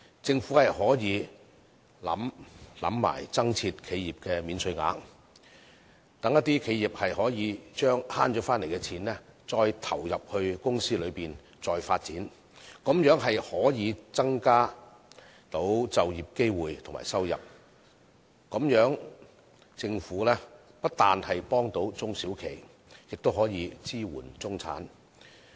政府可考慮增設企業免稅額，讓企業把省回來的金錢投入公司再作發展，這樣便可以增加就業機會和收入，那麼政府不單可幫助中小企，更可支援中產。